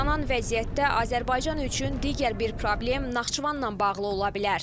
Yaranan vəziyyətdə Azərbaycan üçün digər bir problem Naxçıvanla bağlı ola bilər.